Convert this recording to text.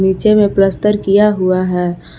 नीचे में प्लस्तर किया हुआ है।